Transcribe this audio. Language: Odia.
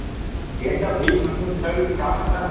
ଏମତା ଭିକ ମାଗୁଛନ ସେଟା ବି ଗୁଟେ କାମ ଏଗା